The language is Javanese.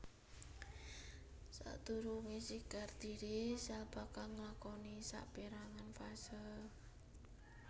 Sadurungé sigar dhiri sel bakal nglakoni sapérangan fase